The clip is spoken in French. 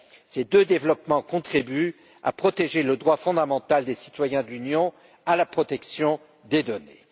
Ces deux développements contribuent à protéger le droit fondamental des citoyens de l'Union à la protection de leurs données.